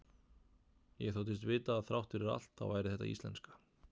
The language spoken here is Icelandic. Ég þóttist vita að þrátt fyrir allt þá væri þetta íslenska.